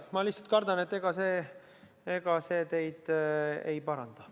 Ma lihtsalt kardan, et ega see teid ei paranda.